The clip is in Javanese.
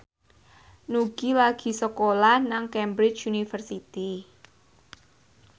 Nugie lagi sekolah nang Cambridge University